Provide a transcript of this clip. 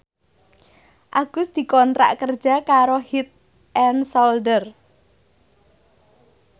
Agus dikontrak kerja karo Head and Shoulder